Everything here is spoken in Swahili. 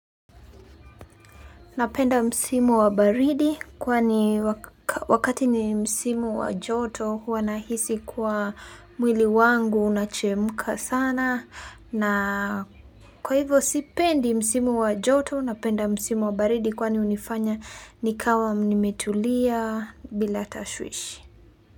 Napenda msimu wa baridi kwani wakati ni msimu wa joto huwa nahisi kuwa mwili wangu unachemka sana na kwa hivo sipendi msimu wa joto napenda msimu wa baridi kwani unifanya nikawa mnimetulia bila tashwishi.